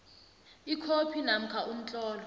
ikhophi namkha umtlolo